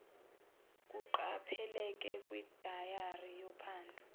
kuqapheleke kwidayari yophando